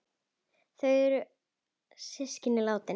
Öll eru þau systkin látin.